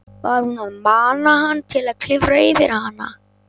Var hún að mana hann til að klifra yfir hana?